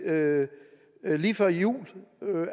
lavet lige før jul